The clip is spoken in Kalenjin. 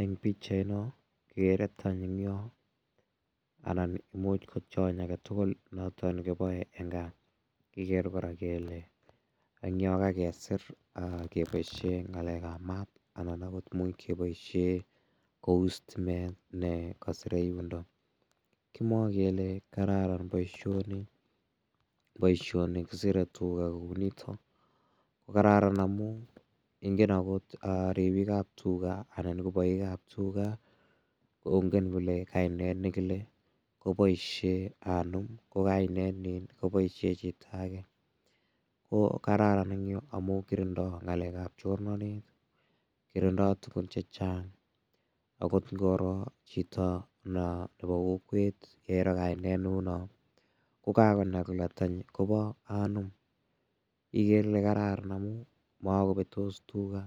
Eng' pikchaino kekere tany eng' yo anan muuch ko tiony age tugul noto kiboei eng' kaa kikere kora kele eng' yo kakesir keboishe ng'alekab maat anan agot muuch keboishe kou sitimet nekasire yundo kimwoei kele kararan boishoni boishoni kiserei tuga kou nito ko kararan amu ingen akot ribikab tuga anan ko boikab tuga kongen kole kainet nekile koboishe anom ko kainet nin koboishe chito age ko kararan eng' yu amu kirindoi ng'alekab chornonet kirindoi tugun chechang' akot ngoro chito nebo kokwet nairo kainet ne uu no kukanai kole tanyi kobo anom igere ile kararan amu makobetos tuga